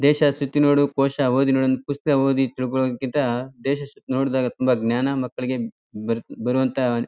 ದೇಶ ಸುತ್ತಿ ನೋಡು ಕೋಶ ಓದಿ ನೋಡು ಅಂತ ಪುಸ್ತ್ಕ ಓದಿ ತಿಳ್ಕೊಳೋಕ್ಕಿಂತ ದೇಶ ಸುತ್ತಿ ನೋಡಿದಾಗ ತುಂಬಾ ಜ್ಞಾನ ಮಕ್ಕಳಿಗೆ ಹ್ಮ್ಮ್ ಬರತ್ತೆ ಬರೊಹಂತ.